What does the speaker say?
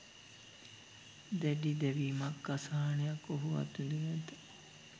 දැඩි දැවීමක්, අසහනයක් ඔහු අත්විඳිනු ඇත.